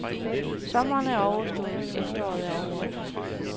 Sommeren er overstået, efteråret er over os.